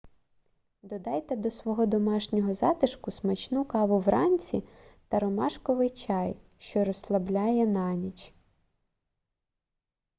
додайте до свого домашнього затишку смачну каву вранці та ромашковий чай що розслабляє на ніч